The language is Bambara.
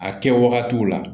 A kɛ wagatiw la